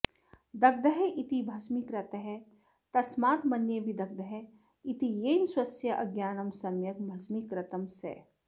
दग्धः इति भस्मीकृतः तस्मात् मन्ये विदग्धः इति येन स्वस्य अज्ञानं सम्यग् भस्मीकृतं सः